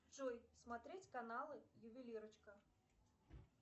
джой смотреть каналы ювелирочка